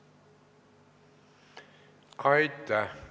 Aitäh!